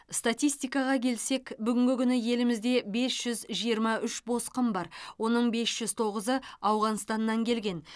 статистикаға келсек бүгінгі күні елімізде бес жүз жиырма үш босқын бар оның бес жүз тоғызы ауғанстаннан келген